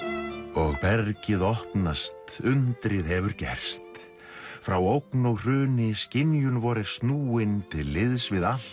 og bergið opnast undrið hefur gerst frá ógn og hruni skynjun vor er snúin til liðs við allt